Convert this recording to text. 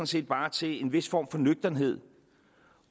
set bare til en vis form for nøgternhed